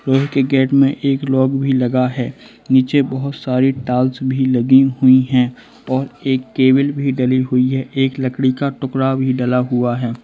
लोहे के गेट मे एक लॉक भी लगा है नीचे बहोत सारे टाल्स भी लगी हुई है और एक केबिल भी डली हुई है एक लकड़ी का टुकड़ा भी डला हुआ है।